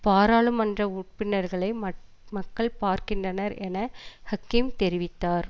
பாராளுமன்ற உப்பினர்களை மக் மக்கள் பார்க்கின்றனர் என ஹக்கீம் தெரிவித்தார்